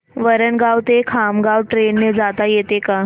वरणगाव ते खामगाव ट्रेन ने जाता येतं का